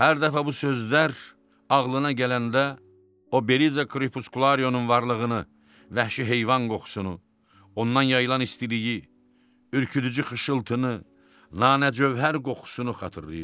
Hər dəfə bu sözlər ağlına gələndə o Beriza Kripuskularyonun varlığını, vəhşi heyvan qoxusunu, ondan yayılan istiliyi, ürküdücü xışıltını, nanə cövhər qoxusunu xatırlayırdı.